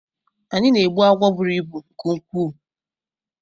Anyi na-egbu agwọ bụrụ ịbụ nke nkwuu.